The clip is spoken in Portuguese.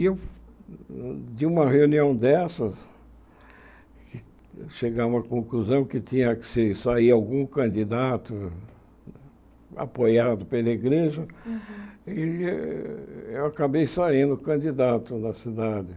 E eu, de uma reunião dessas, chegar a uma conclusão que tinha que ser sair algum candidato apoiado pela igreja, e eu acabei saindo candidato na cidade.